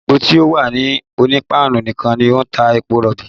Ilé epo ti o wà ní Onípáánù nìkan ló ń ta epo rọ̀bì